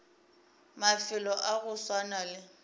mafelo a go swana le